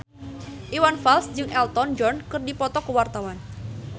Iwan Fals jeung Elton John keur dipoto ku wartawan